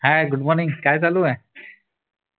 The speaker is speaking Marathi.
हाय गुड मॉर्निंग काय चालू आहे